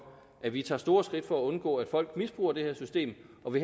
at vi tager store skridt for at undgå at folk misbruger det her system og vi